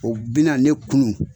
O bi na ne kunun